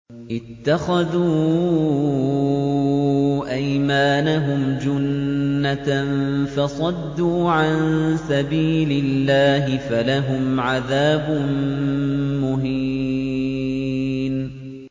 اتَّخَذُوا أَيْمَانَهُمْ جُنَّةً فَصَدُّوا عَن سَبِيلِ اللَّهِ فَلَهُمْ عَذَابٌ مُّهِينٌ